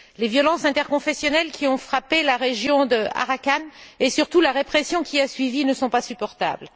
Les violences interconfessionnelles qui ont frappé la région d'Arakan, et surtout la répression qui a suivi, ne sont pas supportables.